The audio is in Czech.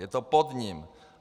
Je to pod ním.